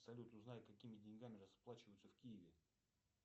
салют узнай какими деньгами расплачиваются в киеве